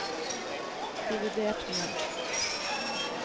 dividert med